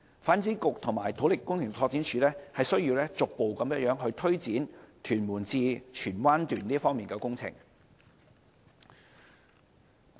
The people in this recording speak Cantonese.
發展局及土木工程拓展署需要逐步推展屯門至荃灣段的工程。